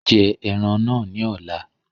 Jẹ ẹran náà ní ọ̀la